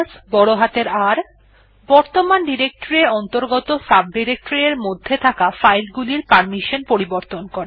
R বর্তমান directory এর অন্তর্গত সাবডিরেকটরি এর মধ্যে থাকা ফাইল গুলির পারমিশন পরিবর্তন করে